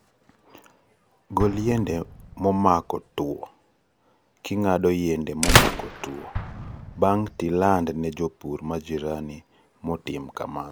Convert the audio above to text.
Gol yiende momako tuo kingado yiende momako tuo bange tiland ne jopur majirani motim kamano.